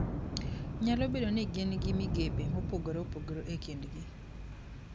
Nyalo bedo ni gin gi migepe mopogore opogore e kindgi.